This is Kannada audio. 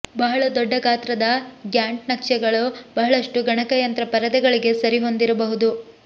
ಬಹಳ ದೊಡ್ಡ ಗಾತ್ರದ ಗ್ಯಾಂಟ್ ನಕ್ಷೆಗಳು ಬಹಳಷ್ಟು ಗಣಕಯಂತ್ರ ಪರದೆಗಳಿಗೆ ಸರಿಹೊಂದದಿರಬಹುದು